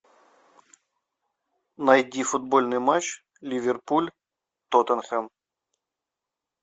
найди футбольный матч ливерпуль тоттенхэм